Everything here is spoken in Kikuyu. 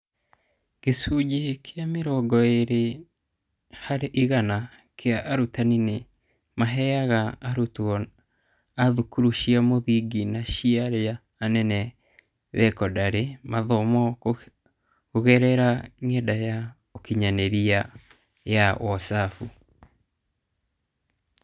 Gĩcunjĩ kĩa mĩrongo-ĩrĩ harĩ igana kĩa arutani nĩ maaheaga arutwo a thukuru cia mũthingi na ciaria anene thekondarĩ mathomo kũgerera ng'enda ya ũkinyanĩria ya Wozabu.